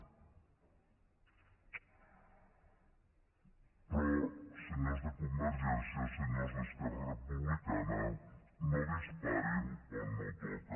però senyors de convergència senyors d’esquerra republicana no disparin on no toca